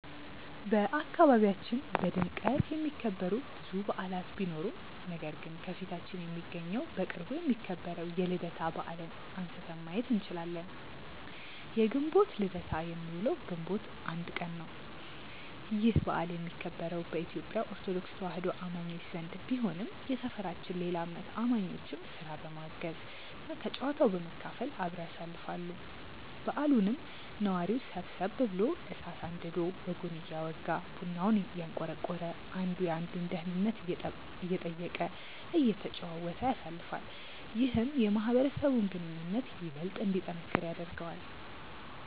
በአካባቢያችን በድምቀት የሚከበሩ ብዙ በዓላት ቢኖሩም ነገር ግን ከፊታችን የሚገኘው በቅርቡ የሚከበረው የልደታ በዓልን አንስተን ማየት እንችላለን። የግንቦት ልደታ የሚውለው ግንቦት 1 ቀን ነው። ይህ በዓል የሚከበረው በኢትዮጲያ ኦርቶዶክስ ተዋህዶ አማኞች ዘንድ ቢሆንም የሰፈራችን ሌላ እምነት አማኞችም ስራ በማገዝ እና ከጨዋታው በመካፈል አብረው ያሳልፋሉ። በዓሉንም ነዋሪው ሰብሰብ ብሎ እሳት አንድዶ ወጉን እያወጋ፤ ቡናውን እያንቆረቆረ፤ አንዱ የአንዱን ደህንነት እየጠየቀ፤ እየተጨዋወተ ያሳልፋል። ይህም የማህበረሰቡን ግንኙነት ይበልጥ እንዲጠነክር ያደርገዋል።